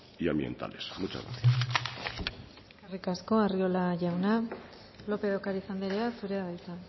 y ambientales muchas gracias eskerrik asko arriola jauna lópez de ocariz anderea zurea da hitza